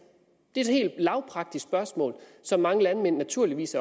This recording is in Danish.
et helt lavpraktisk spørgsmål som mange landmænd naturligvis